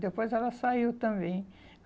Depois ela saiu também.